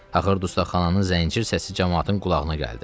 Axır dustaqxananın zəncir səsi camaatın qulağına gəldi.